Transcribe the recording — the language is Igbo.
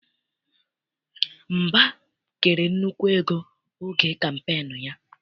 Mba kere nnukwu ego oge kampeenu ya.